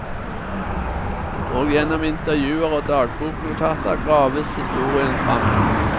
Og gjennom intervjuer og dagboknotater graves historien fram.